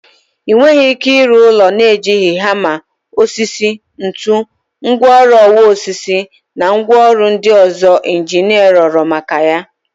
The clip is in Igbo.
Ị nweghị ike ịrụ ụlọ na-ejighị hama, osisi, ntu, ngwaọrụ ọwa osisi na ngwaọrụ ndị ọzọ injinia rịọrọ maka ya.